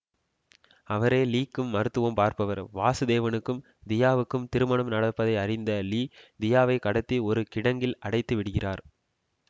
அவரே லீக்கும் மருத்துவம் பார்ப்பவர் வாசுதேவனுக்கும் தியாவுக்கும் திருமணம் நடப்பதை அறிந்த லீ தியாவை கடத்தி ஒரு கிடங்கில் அடைத்து விடுகிறார்